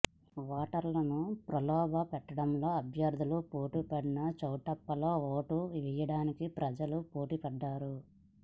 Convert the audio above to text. ఓటర్లను ప్రలోభపెట్టడంలో అభ్యర్థులు పోటీపడిన చౌటుప్పల్లో ఓటు వేయడానికి ప్రజలు పోటీపడ్డారు